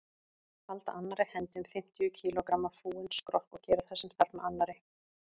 Halda annarri hendi um fimmtíu kílógramma fúinn skrokk og gera það sem þarf með annarri.